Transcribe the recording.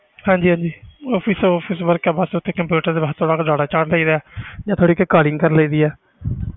ਹਾਂਜੀ ਹਾਂਜੀ office office work ਆ ਬਸ ਉੱਥੇ computer ਤੇ ਬਸ ਥੋੜ੍ਹਾ ਕੁ data ਚਾੜ੍ਹ ਦੇਈਦਾ ਹੈ ਜਾਂ ਫਿਰ ਕਰ ਲਈਦੀ ਹੈ